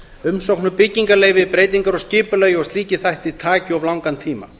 umsókn um byggingarleyfi breytingar á skipulagi og slíkir þættir taki of langan tíma